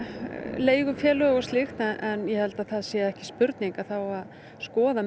leigufélög og slíkt en ég held að það sé ekki spurning að skoða